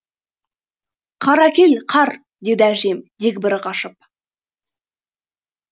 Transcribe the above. қар әкел қар деді әжем дегбірі қашып